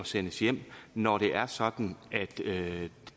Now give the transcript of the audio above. sendes hjem når det er sådan at